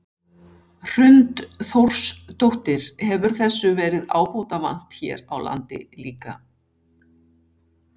Hrund Þórsdóttir: Hefur þessu verið ábótavant hér á landi líka?